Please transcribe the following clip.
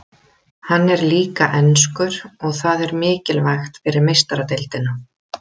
Hann er líka enskur og það er mikilvægt fyrir Meistaradeildina.